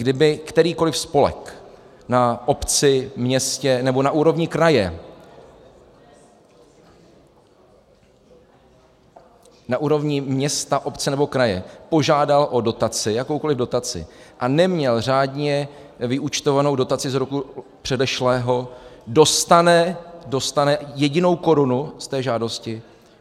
Kdyby kterýkoli spolek na obci, městě nebo na úrovni kraje, na úrovni města, obce nebo kraje požádal o dotaci, jakoukoli dotaci, a neměl řádně vyúčtovanou dotaci z roku předešlého, dostane jedinou korunu z té žádosti?